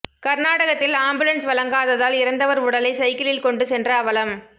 கர்நாடகத்தில் ஆம்புலன்ஸ் வழங்காததால் இறந்தவர் உடலை சைக்கிளில் கொண்டு சென்ற அவலம்